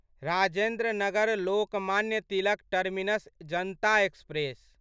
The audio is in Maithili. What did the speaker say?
Rajendra Nagar Lokmanya Tilak Terminus Janata express